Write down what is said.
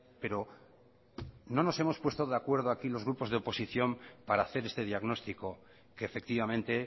pero no nos hemos puesto de acuerdo aquí los grupos de oposición para hacer este diagnóstico que efectivamente